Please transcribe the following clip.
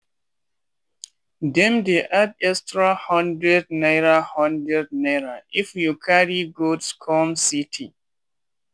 dem dey add extra hundred naira hundred naira if you carry goods come city.